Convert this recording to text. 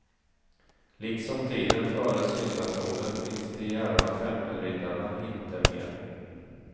Liksom tiden före syndafloden finns de djärva tempelriddarna inte mer.